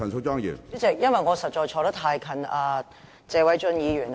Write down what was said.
主席，因為我實在坐得太近謝偉俊議員。